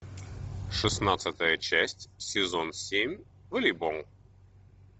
шестнадцатая часть сезон семь волейбол